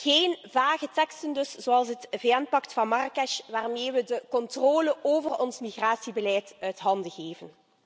Geen vage teksten dus, zoals het VN pact van Marrakesh, waarmee we de controle over ons migratiebeleid uit handen geven.